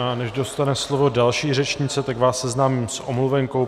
A než dostane slovo další řečnice, tak vás seznámím s omluvenkou.